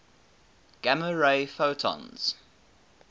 gamma ray photons